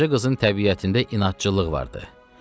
Qaraca qızın təbiətində inadçılıq vardı.